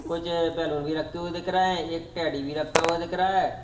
कुछ बैलून भी रखे हुए दिख रहे हैं एक टैडी भी रखा हुआ दिख रहा है।